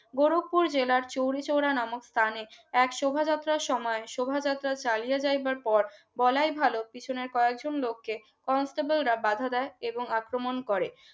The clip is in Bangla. গোরখপুর জেলা চৌরু চওড়া নামক স্থানে এক শোভাযাত্রার সময় শোভাযাত্রা চালিয়ে যাইবার পর বলাই ভালো পিছনের কয়েকজন লোককে কনস্টেবলরা বাধা দেয় এবং আক্রমণ করে